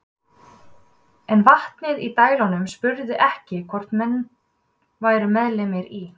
En vatnið í dælunum spurði ekki hvort menn væru meðlimir í